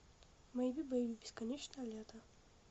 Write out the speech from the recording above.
мэйби бэйби бесконечное лето